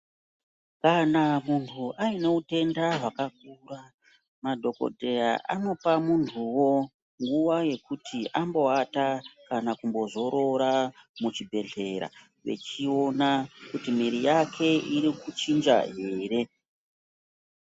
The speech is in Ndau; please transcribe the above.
Kana muntu aine utenda hwakakura, madhokodheya anopa muntuwo ,nguwa yekuti ambowata kana kumbozorora, muzvibhedhlera, vechiona kuti mwiri yake iri kuchinja here.